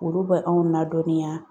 Olu bɛ anw ladɔnniya